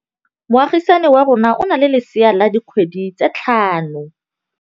Moagisane wa rona o na le lesea la dikgwedi tse tlhano.